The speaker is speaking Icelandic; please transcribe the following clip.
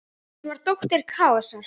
Hún var dóttir Kaosar.